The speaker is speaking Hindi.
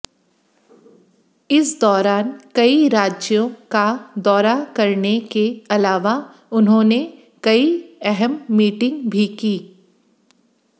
इस दौरान कई राज्यों का दौरा करने के अलावा उन्होंने कई अहम मीटिंग भी कीं